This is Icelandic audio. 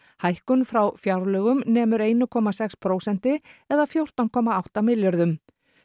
hækkun frá fjárlögum nemur einu komma sex prósentum eða fjórtán komma átta milljörðum